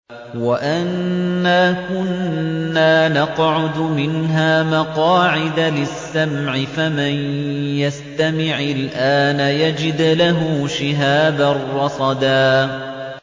وَأَنَّا كُنَّا نَقْعُدُ مِنْهَا مَقَاعِدَ لِلسَّمْعِ ۖ فَمَن يَسْتَمِعِ الْآنَ يَجِدْ لَهُ شِهَابًا رَّصَدًا